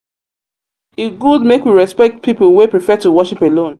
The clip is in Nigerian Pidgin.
e good make we respect pipo wey prefer to prefer to worship alone.